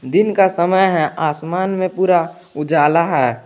दिन का समय है आसमान में पूरा उजाला है।